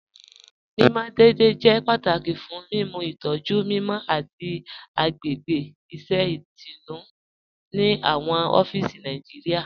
Mimọ deẹ̀dẹ̀ jẹ́ pátàkì fún mímú ìtọ̀jú mímọ àti agbègbè iṣẹ̀ itùnú ni awọn ọ̀fíìsì Nàìjíríà.